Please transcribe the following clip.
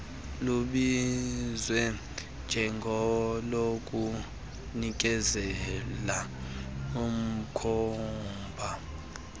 lubizwa njengolokunikezela umkhomba